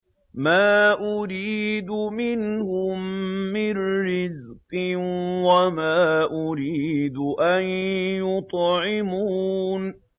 مَا أُرِيدُ مِنْهُم مِّن رِّزْقٍ وَمَا أُرِيدُ أَن يُطْعِمُونِ